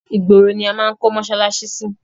Ìgboro ni a máa kọ́ mọsálásí sí.